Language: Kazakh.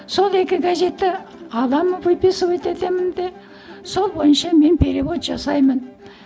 сол екі газетті аламын выписывать етемін де сол бойынша мен перевод жасаймын